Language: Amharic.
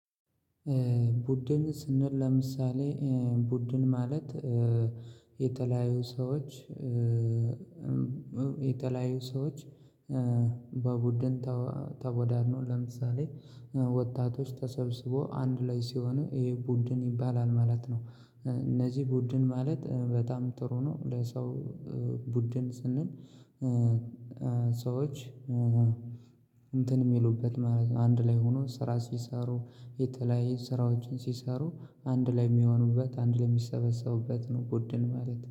ቡድን ስንል ለምሳሌ ቡድን ማለት የተለያዩ ሰዎች የተለያዩ ሰዎች። በቡድን ተቦዳድኖ ለምሳሌ ወጣቶች ተሰብስቦ አንድ ላይ ሲሆን ይሄ ቡድን ይባላል ማለት ነው። እነዚህ ቡድን ማለት በጣም ጥሩ ነው። ለሰው ቡድን ስንል ሰዎች እንትን የሚሉበት ማለት ነው። አንድ ላይ ሆኖ ስራ ሲሰሩ የተለያየ ስራዎችን ሲሰሩ አንድ ላይ የሚሆኑበት አንድ ለሚሰበሰቡበት ነው ቡድን ማለት